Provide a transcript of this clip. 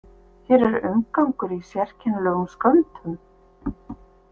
Hér er umgangur í sérkennilegum skömmtum.